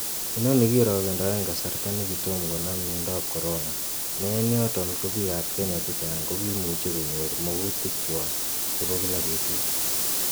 Inoni kirogendoen kasarta nekitom konam miondab corona, ne en yoton ko bik ab kenya chechang kokimuche konyor mogutikchwak chebo kila betut.